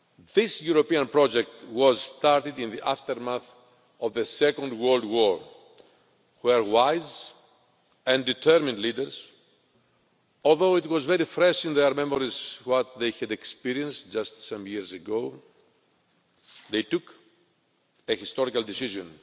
This European project was started in the aftermath of the Second World War, when wise and determined leaders although it was very fresh in their memories what they had experienced just some years ago took the historical decision